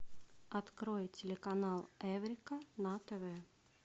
открой телеканал эврика на тв